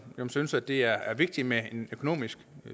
synes at det er vigtigt med en økonomisk